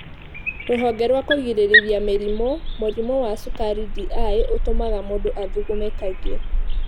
Rũhonge rwa kũgirĩrĩria mĩrimũ. Mũrimũ wa cukari (DI) ũtũmaga mũndũ athugume kaingĩ.